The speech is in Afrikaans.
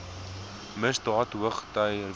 misdaad hoogty vier